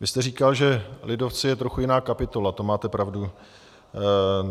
Vy jste říkal, že lidovci jsou trochu jiná kapitola, to máte pravdu.